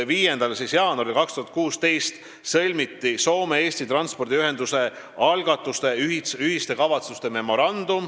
5. jaanuaril 2016 sõlmiti Soome–Eesti transpordiühenduse algatuse ühiste kavatsuste memorandum.